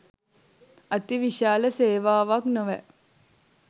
අති විශාල සේවාවක් නොවැ